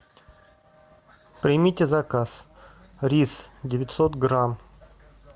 примите заказ рис девятьсот грамм